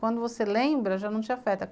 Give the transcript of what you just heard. Quando você lembra, já não te afeta.